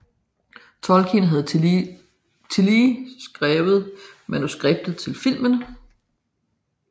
Tolkin havde tillige skrievet manuskriptet til filmen